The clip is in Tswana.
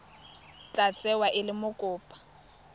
tla tsewa e le mokopa